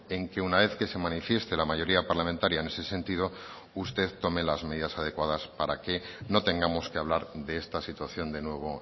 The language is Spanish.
en que una vez que se manifieste la mayoría parlamentaria en ese sentido usted tome las medidas adecuadas para que no tengamos que hablar de esta situación de nuevo